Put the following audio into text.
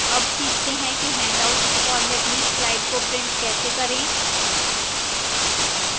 अब सीखते हैं कि handouts format में slides को print कैसे करें